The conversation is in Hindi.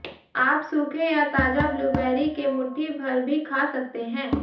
आप सूखे या ताजा ब्लूबेरी के मुट्ठी भर भी खा सकते हैं